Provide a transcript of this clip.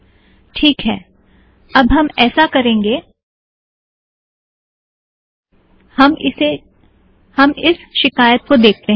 teak है - अब हम ऐसा करेंगे - हम इस शिकायत को देखते हैं